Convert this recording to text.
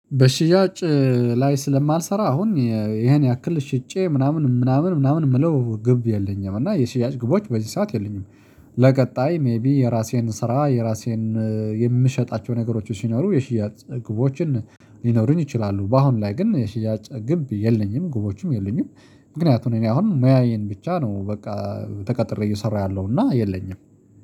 በሽያጭ ላይ ስለማልሰራ አሁን ይሄን ያክል ሽጬ ምናምን ምናምን ምናምን የምለው ግብ የለኝም። እና የሽያጭ ግቦች በዚህ ሰዓት የሉኝም። ለቀጣይ ሜይቢ የራሴን ስራ የራሴን የምሸጣቸው ነገሮች ሲኖሩ የሽያጭ ግቦችን ሊኖሩኝ ይችላሉ። በአሁን ላይ ግን የሽያጭ ግብ የለኝም። ግቦችም የለኝም። ምክንያቱም እኔ አሁን ሙያዬን ብቻ ነው በቃ ተቀጥሬ እየሰራ ያለሁ። እና የለኝም።